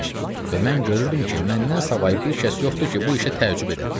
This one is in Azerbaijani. Və mən görürdüm ki, məndən savayı bir kəs yoxdur ki, bu işə təəccüb edə.